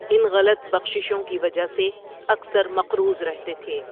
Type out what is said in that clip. ان غلط بخششوں کی وجہ سے اکثر مقروض رہتے تھے۔